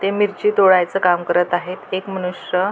ते मिरची तोडायच काम करत आहेएक मनुष्य--